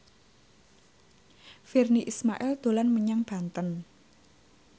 Virnie Ismail dolan menyang Banten